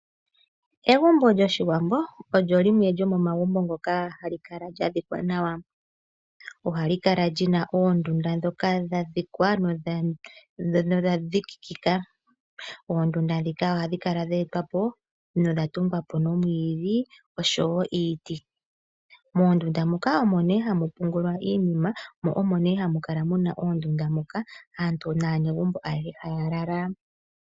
Egumbo lyOshiwambo olyo limwe lyo momagumbo ngoka hali kala lya dhikwa nawa. Ohali kala lyi na oondunda ndhoka dha dhikwa nodha dhikikika. Oondunda ndhika ohadhi kala dhe etwa po, nodha tungwa po nomwiidhi oshowo iiti. Moondunda muka omo nee hamu pungulwa iinima, mo omo nee hamu kala muna iinguma muka, aantu naanegumbo ayehe haya lala.